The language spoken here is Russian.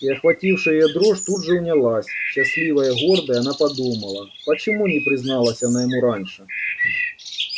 и охватившая её дрожь тут же унялась счастливая гордая она подумала почему не призналась она ему раньше